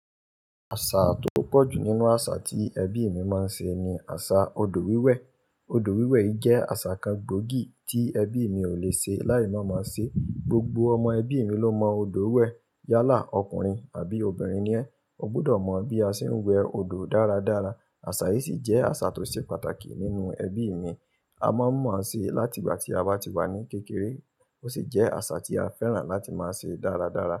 Àṣà tó pọ̀ jù nínú àṣà tí ẹbí mi máa ń ṣe ni àṣà odò wíwẹ̀. Odò wíwẹ̀ yìí jẹ́ àṣà kan gbòógì tí ẹbí mi ò le ṣe láì má máa ṣe. Gbogbo ọmọ ẹbí mi ló mọ odò wẹ̀. Yálà ọkùnrin àbí obìnrin ni ẹ́, o gbudọ̀ mọ bí a ṣe ń wẹ odò dáradára. Àṣà yìí sì jẹ́ àṣà tó ṣe pàtàkì nínú ẹbí mi. A máa ń mọ̀ ọ́ ṣe láti ìgbà tí a bá ti wà ní kékeré. Ó sì jẹ́ àṣà tí a fẹ́ràn láti máa ṣe dáradára.